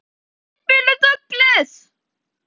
Ekki tilfinnanlega sagði hann.